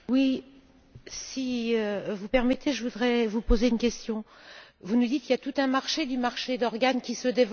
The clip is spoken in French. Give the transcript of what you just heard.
Si vous le permettez, je voudrais vous poser une question. Vous nous dites qu'il y a tout un marché d'organes qui se développe en Chine.